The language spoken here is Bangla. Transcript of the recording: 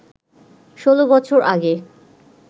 ১৬ বছর আগে